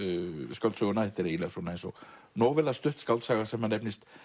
skáldsöguna þetta er eins og stutt skáldsaga sem nefnist